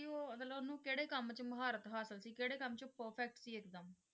ਉਹ ਮਤਲਬ ਉਹਨੂੰ ਕਿਹੜੇ ਕੰਮ 'ਚ ਮੁਹਾਰਤ ਹਾਸਿਲ ਸੀ, ਕਿਹੜੇ ਕੰਮ 'ਚ perfect ਸੀ ਇੱਕਦਮ?